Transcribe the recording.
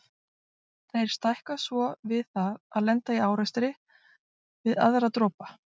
Þeir stækka svo við það að lenda í árekstri við aðra dropa.